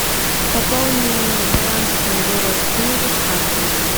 пополни баланс моего родственника с карты